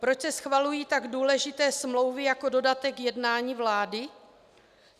Proč se schvalují tak důležité smlouvy jako dodatek jednání vlády?